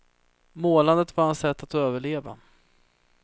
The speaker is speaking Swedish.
Målandet var hans sätt att överleva.